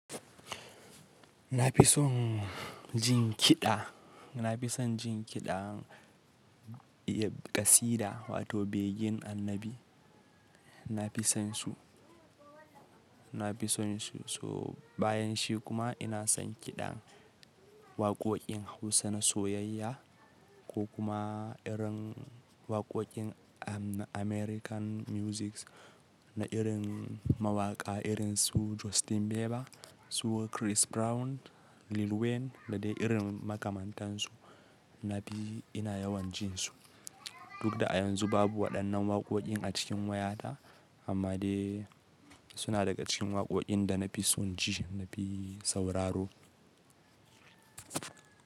Na fi son jin kiɗa, na fi son jin kiɗan ƙasida wato begen annabi, na fi sonsu, na fi sonsu. So bayan shi kuma ina son kiɗan waqoqin Hausa na soyayya ko kuma irin waqoqin American music na irin mawaƙa irin su Justin Bieber su Chris Brown, Lil Wayne da dai irin makamantansu na fi ina yawan jin su. Duk da a yanzu babu waɗannan waqoqin a cikin wayata amma dai suna daga cikin waqoqin da na fi son ji na fi sauraro.